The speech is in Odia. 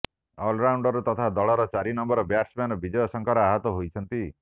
ଅଲରାଉଣ୍ଡର ତଥା ଦଳର ଚାରି ନମ୍ବର ବ୍ୟାଟ୍ସମ୍ୟାନ ବିଜୟ ଶଙ୍କର ଆହତ ହୋଇଛନ୍ତି